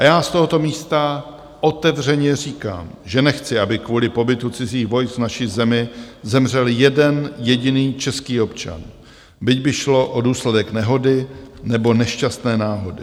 A já z tohoto místa otevřeně říkám, že nechci, aby kvůli pobytu cizích vojsk v naší zemi zemřel jeden jediný český občan, byť by šlo o důsledek nehody nebo nešťastné náhody.